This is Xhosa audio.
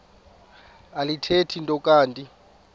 alithethi nto kanti